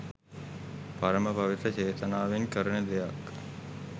පරම පවිත්‍ර චේතනාවෙන් කරන දෙයක්